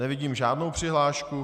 Nevidím žádnou přihlášku.